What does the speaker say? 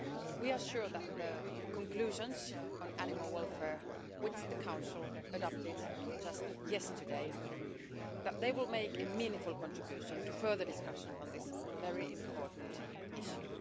We are sure that the conclusions on animal welfare which the Council adopted just yesterday will make a meaningful contribution to further discussion on this very important issue.